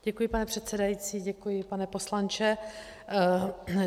Děkuji, pane předsedající, děkuji, pane poslanče.